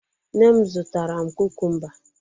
Nne m zụtara m kukumba.